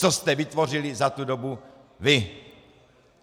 Co jste vytvořili za tu dobu vy?